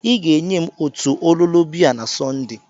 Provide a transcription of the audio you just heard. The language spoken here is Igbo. I ga-enye m otu ololo biya na Sọnde